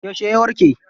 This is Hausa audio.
Yauce ya warke?